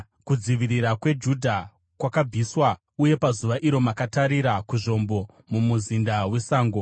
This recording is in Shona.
kudzivirirwa kweJudha kwakabviswa. Uye pazuva iro makatarira, kuzvombo muMuzinda weSango;